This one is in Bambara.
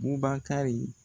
Bubakari